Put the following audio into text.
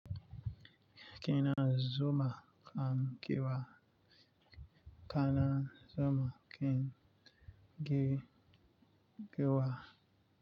Kina zuma kam kewa, kana zuma ken ge-ge wa.